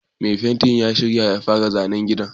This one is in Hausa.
Mai fenti ya shirya ya fara zanen gidan